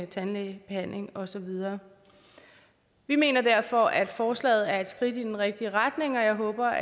tandlægebehandling og så videre vi mener derfor at forslaget er et skridt i den rigtige retning og jeg håber